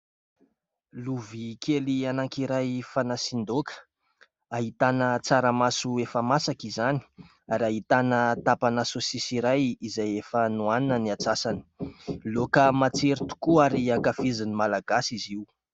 Lovia kely anankiray fanasian-daoka. Ahitana tsaramaso efa masaka izany ary ahitana tapana sôsisy iray izay efa nohanina ny antsasany. Laoka matsiro tokoa ary ankafizin'ny malagasy izy io.